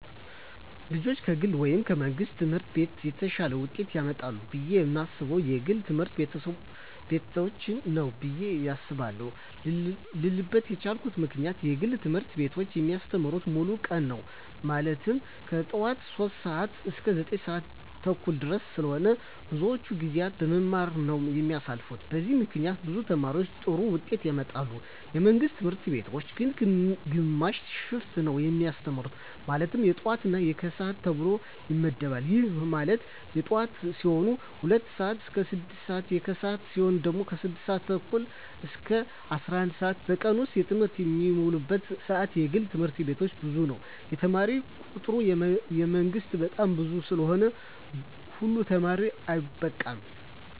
ልጆች ከግል ወይም ከመንግሥት ትምህርት ቤቶች የተሻለ ውጤት ያመጣሉ ብየ የማስበው የግል ትምህርት ቤቶችን ነው ብየ አስባለው ልልበት የቻልኩት ምክንያት የግል ትምህርት ቤቶች የሚያስተምሩት ሙሉ ቀን ነው ማለትም ከጠዋቱ 3:00 ሰዓት እስከ 9:30 ድረስ ስለሆነ ብዙውን ጊዜያቸውን በመማማር ነው የሚያሳልፉት በዚህም ምክንያት ብዙ ተማሪ ጥሩ ውጤት ያመጣል። የመንግስት ትምህርት ቤቶች ግን ግማሽ ሽፍት ነው የሚያስተምሩ ማለትም የጠዋት እና የከሰዓት ተብሎ ይመደባል ይህም ማለት የጠዋት ሲሆኑ 2:00 ስዓት እስከ 6:00 ሲሆን የከሰዓት ሲሆኑ ደግሞ 6:30 እስከ 11:00 ነው በቀን ውስጥ በትምህርት የሚውሉበት ሰዓት የግል ትምህርት ቤቶች ብዙ ነው የተማሪ ቁጥሩ የመንግስት በጣም ብዙ ስለሆነ ሁሉ ተማሪ አይበቃም።